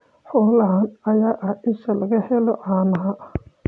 Xoolahan ayaa ah isha laga helo caanaha.